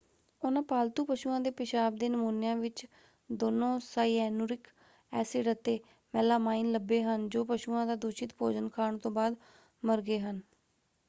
ਉਹਨਾਂ ਪਾਲਤੂ ਪਸ਼ੂਆਂ ਦੇ ਪਿਸ਼ਾਬ ਦੇ ਨਮੂਨਿਆਂ ਵਿੱਚ ਦੋਨੋਂ ਸਾਇਐਨੂਰਿਕ ਐਸਿਡ ਅਤੇ ਮੈਲਾਮਾਈਨ ਲੱਭੇ ਹਨ ਜੋ ਪਸ਼ੂਆਂ ਦਾ ਦੂਸ਼ਿਤ ਭੋਜਨ ਖਾਣ ਤੋਂ ਬਾਅਦ ਮਰ ਗਏ ਹਨ।